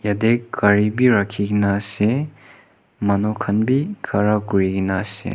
yetey gari bhi rakhi kena ase manu khan bi khara kuri kena ase.